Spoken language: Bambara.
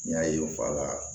N y'a ye n fa la